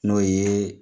N'o ye